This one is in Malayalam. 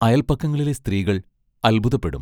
അയൽപക്കങ്ങളിലെ സ്ത്രീകൾ അത്ഭുതപ്പെടും.